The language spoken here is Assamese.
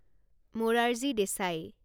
মৰাৰজী দেচাই